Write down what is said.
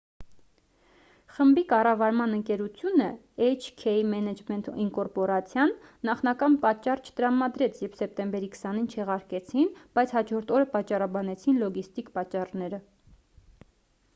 խմբի կառավարման ընկերությունը էյչ-քեյ մենեջմենթ ինկորպորացիան նախնական պատճառ չտրամադրեց երբ սեպտեմբերի 20-ին չեղարկեցին բայց հաջորդ օրը պատճառաբանեցին լոգիստիկ պատճառները